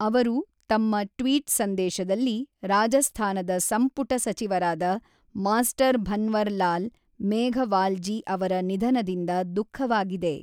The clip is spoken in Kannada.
ಅವರು ತಮ್ಮ ಟ್ವೀಟ್ ಸಂದೇಶದಲ್ಲಿ ರಾಜಸ್ಥಾನದ ಸಂಪುಟ ಸಚಿವರಾದ ಮಾಸ್ಟರ್ ಭನ್ವರ್ ಲಾಲ್ ಮೇಘವಾಲ್ ಜಿ ಅವರ ನಿಧನದಿಂದ ದುಖಃವಾಗಿದೆ.